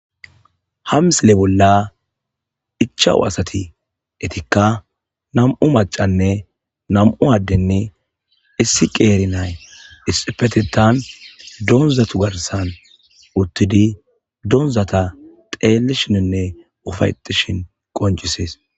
hamsile bolla ichawu asati etikka nam7u macanne nam7u addenne issi qeeri nay isi petetan donzatu garsan uttidi doonzata xeelishininne ufayetishin qonjisees